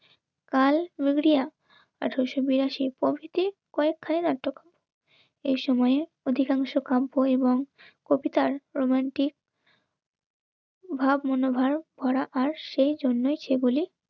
কাল বেগুড়িয়া আঠারোশো-বিরাশিটি কয়েকখানি নাটক এসময়ে অধিকাংশ কাব্য এবং কবিতার প্রমাণটি ভাব মনোভাব করা আর সেই জন্যই সেগুলি